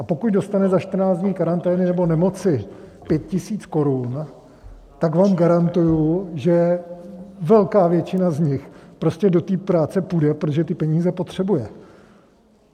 A pokud dostane za 14 dní karantény nebo nemoci 5 000 korun, tak vám garantuji, že velká většina z nich prostě do práce půjde, protože ty peníze potřebuje.